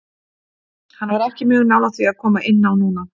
Hann var ekki mjög nálægt því að koma inn á núna.